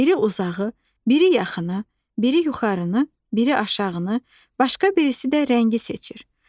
Biri uzağı, biri yaxını, biri yuxarını, biri aşağıını, başqa birisi də rəngi seçir.